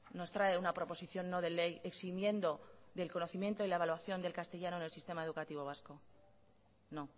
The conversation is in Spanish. nos trae una proposición no de ley eximiendo del conocimiento de la evaluación del castellano en el sistema educativo vasco no